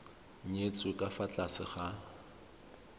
nyetswe ka fa tlase ga